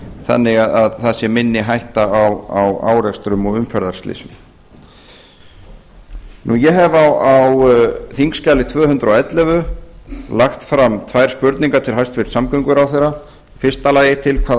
þannig að það sé minni hætta á árekstrum og umferðarslysum ég hef á þingskjali tvö hundruð og ellefu lagt fram tvær spurningar til hæstvirts samgönguráðherra í fyrsta lagi til hvaða